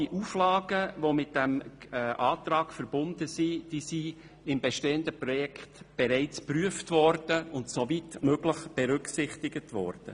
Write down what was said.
Die mit dem Antrag verbundenen Auflagen sind im Rahmen des bestehenden Projekts bereits geprüft und soweit wie möglich berücksichtigt worden.